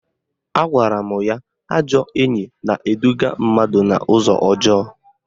Agwara m ya ajọ enyi na-eduga mmadụ n'ụzọ ọjọọ